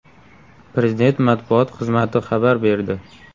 Prezident matbuot xizmati xabar berdi.